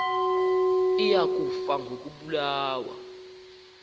iya kufa ngokobulawa